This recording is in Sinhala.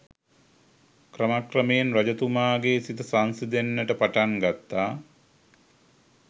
ක්‍රමක්‍රමයෙන් රජතුමාගේ සිත සංසිඳෙන්නට පටන් ගත්තා.